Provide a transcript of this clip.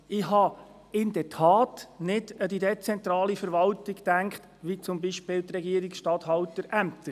Ich hatte in der Tat nicht an die dezentrale Verwaltung gedacht, wie zum Beispiel die Regierungsstatthalterämter.